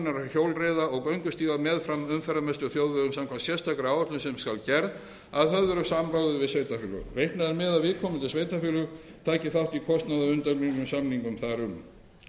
hjólreiða og göngustíga meðfram umferðarmestu þjóðvegum samkvæmt sérstakri áætlun sem skal gerð að höfðu samráði við sveitarfélög reiknað er með að viðkomandi sveitarfélög taki þátt í kostnaði að undangengnum samningum þar um